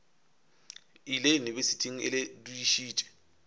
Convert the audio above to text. ile yunibesithing e le dudišitše